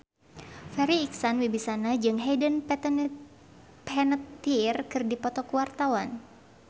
Farri Icksan Wibisana jeung Hayden Panettiere keur dipoto ku wartawan